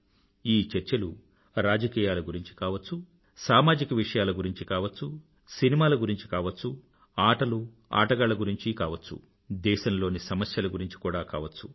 ఈ చర్చలు రాజకీయాల గురించీ కావచ్చు సామాజిక విషయాల గురించీ కావచ్చు సినిమాల గురించీ కావచ్చు ఆటలు ఆటగాళ్ల గురించీ కావచ్చు దేశంలోని సమస్యల గురించి కూడా కావచ్చు